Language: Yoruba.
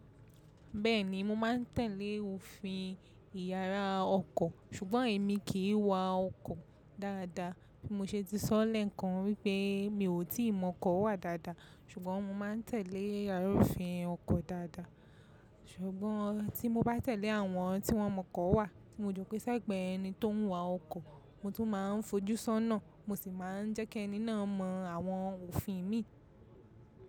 Bẹ́ẹ̀ni mo máa ń tẹ̀lé òfin ìyàrá ọkọ̀, ṣùgbọ́n èmi kì í wa ọkọ̀ dáadáa. Bí mo ṣe ti sọ́ lẹ́ẹ̀kan wípé mi ò tí ì mọ ọkọ̀ wà dáadáa, ṣùgbọ́n mo máa ń tẹ̀lé àlùfín ọkọ̀ dáadáa. Ṣùgbọ́n tí mo bá tẹ̀lé àwọn tí wọ́n mọ ọkọ̀ wà, tí mo jọ pé sẹ́gbẹ̀ẹ́ ẹni tó ń wa ọkọ̀, mo tún máa ń fojú sọ́nà, mo sì máa ń jẹ́kẹ́ ẹni náà mọ àwọn òfin mi.